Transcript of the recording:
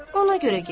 Ona görə getdi.